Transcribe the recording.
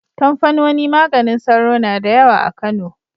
Kamfanoni maganin sauro na da yawa a Kano.